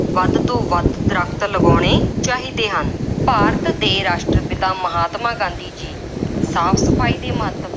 ਵੱਧ ਤੋਂ ਵੱਧ ਦਰੱਖਤ ਲਗਾਉਣੇ ਚਾਹੀਦੇ ਹਨ। ਭਾਰਤ ਦੇ ਰਾਸ਼ਟਰ-ਪਿਤਾ ਮਹਾਤਮਾ ਗਾਂਧੀ ਜੀ ਸਾਫ ਸਫਾਈ ਦੇ ਮਹੱਤਵ